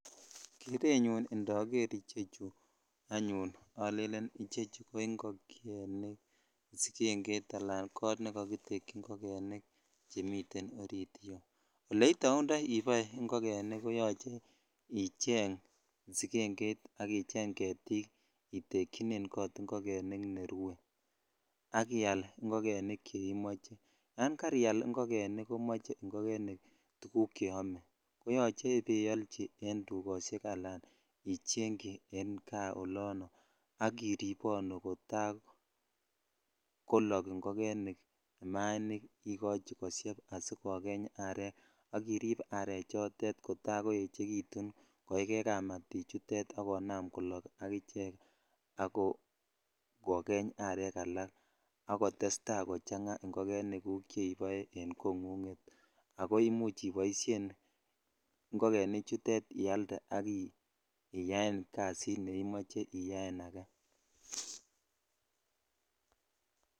Kerenyun indoger ichechu anyone olelen ko ingogenik sigengeit ala kot nekakitekyik ingogenik chemiten ori iyeuole itaundoi ole kiboito ingogenik ko yoche icheng sigengeit ak icheng getik itejyinen kot ingogenik ole rue ak ial ingogenik che imoche ya karial ingogenik komoche tuguk cheome ko yoche ibaiolchi en dukoshek ala ichegchi en kaa olono ak iribonu kata kolok ingogenik imainik ikochi koshep ak kokeny aret ak irip areechoton kotakoechekitun koikei kamatichutet ak konam kolok ak ichek ako kokeny arek alak akotestai kochang ingogenik guk cheibo e kongug ako imuch iboishen ingogenichuto ialde ak itaen kasit ne imoche iyaen ake.